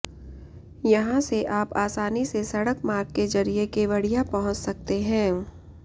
यहां से आप आसानी से सड़क मार्ग के जरिए केवड़िया पहुंच सकते हैं